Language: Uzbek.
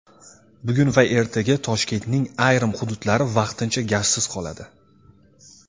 Bugun va ertaga Toshkentning ayrim hududlari vaqtincha gazsiz qoladi.